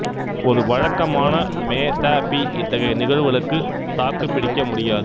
ஒரு வழக்கமான மெ த பி இத்தகைய நிகழ்வுகளுக்கு தாக்குப்பிடிக்க முடியாது